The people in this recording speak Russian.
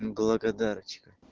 благодарочка